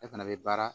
E fana bɛ baara